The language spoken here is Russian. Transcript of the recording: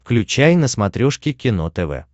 включай на смотрешке кино тв